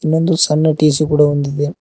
ಒಂದು ಸಣ್ಣ ಟಿ_ಸಿ ಕೂಡ ಹೊಂದಿದೆ.